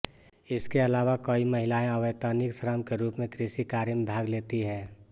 इसके अलावा कई महिलाएं अवैतनिक श्रम के रूप में कृषि कार्य में भाग लेती हैं